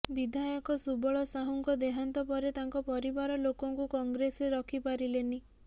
ବିଧାୟକ ସୁବଳ ସାହୁଙ୍କ ଦେହାନ୍ତ ପରେ ତାଙ୍କ ପରିବାର ଲୋକଙ୍କୁ କଂଗ୍ରେସରେ ରଖି ପାରିଲେନି